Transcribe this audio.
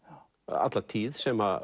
alla tíð sem